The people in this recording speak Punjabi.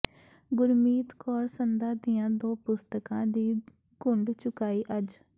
ਗੁਰਮੀਤ ਕੌਰ ਸੰਧਾ ਦੀਆਂ ਦੋ ਪੁਸਤਕਾਂ ਦੀ ਘੁੰਡ ਚੁਕਾਈ ਅੱਜ